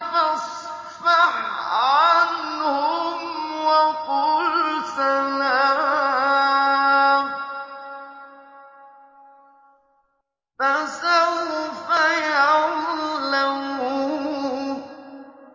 فَاصْفَحْ عَنْهُمْ وَقُلْ سَلَامٌ ۚ فَسَوْفَ يَعْلَمُونَ